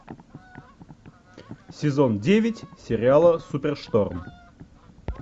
сезон девять сериала супершторм